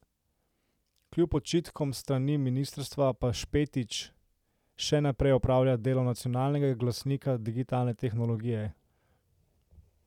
Kljub očitkom s strani ministrstva pa Špetič še naprej opravlja delo nacionalnega glasnika digitalne tehnologije.